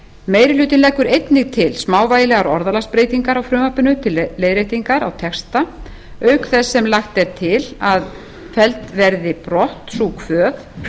meiri hlutinn leggur einnig til smávægilegar orðalagsbreytingar á frumvarpinu til leiðréttingar á texta auk þess sem lagt er til að felld verði brott sú kvöð